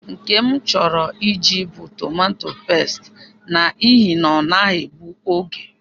Nke m chọrọ Ị jị bụ tomato pesti, n’ihi na-ọnaghị egbu oge